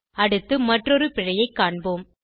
அடுத்து மற்றொரு பிழையைக் காண்போம்